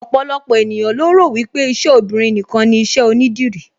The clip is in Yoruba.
Ọ̀pọ̀lọpọ̀ ènìyàn lo rò wípé iṣẹ́ obinrin nìkan ni iṣẹ́ onídìrí